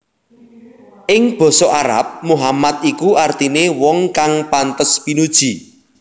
Ing basa Arab Muhammad iku artine wong kang pantes pinuji